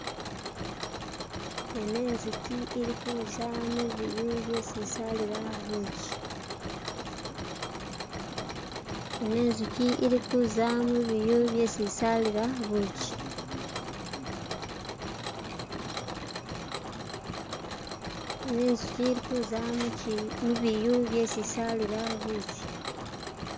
Ino inzuki ili kuza mubiyu byesi isalila bushi.